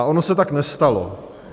A ono se tak nestalo.